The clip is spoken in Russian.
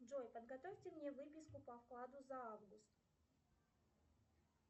джой подготовьте мне выписку по вкладу за август